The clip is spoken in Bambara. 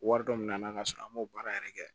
Wari dɔ minɛ n'a ka sɔrɔ an m'o baara yɛrɛ kɛ